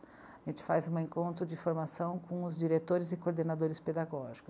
A gente faz um encontro de formação com os diretores e coordenadores pedagógicos.